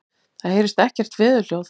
Það heyrist ekkert veðurhljóð.